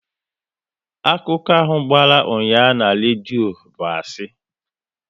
Akụkọ ahụ gbara ụnyaahụ na redio bụ asị